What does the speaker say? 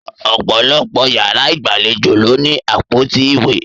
Ọ̀pọ̀lọpọ̀ yàrá ìgbàlejò ló ní àpótí ìwé.